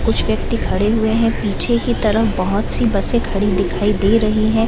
कुछ व्यक्ति खड़े हुए है पीछे की तरफ बहोत सी बसे खड़ी दिखाई दे रही है।